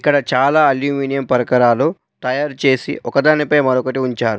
ఇక్కడ చాలా అల్మ్యూమినియం పరికరాలు తయారు చేసి ఒకదానిపై మరొకటి ఉంచారు.